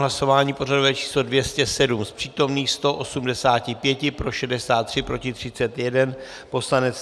Hlasování pořadové číslo 207, z přítomných 185 pro 63, proti 31 poslanec.